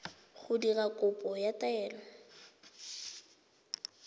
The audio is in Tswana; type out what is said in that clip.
go dira kopo ya taelo